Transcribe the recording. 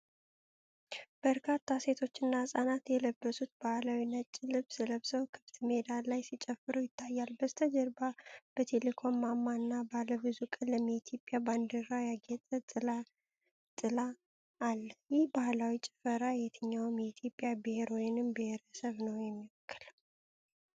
በርካታ ሴቶችና ሕፃናት የለበሱት ባህላዊ ነጭ ልብስ ለብሰው ክፍት ሜዳ ላይ ሲጨፍሩ ይታያሉ። በስተጀርባ የቴሌኮም ማማ እና ባለ ብዙ ቀለም የኢትዮጵያ ባንዲራ ያጌጠ ጥላ አለ። ይህ ባህላዊ ጭፈራ የትኛው የኢትዮጵያ ብሔር ወይንም ብሔረሰብ ነው የሚወክለው?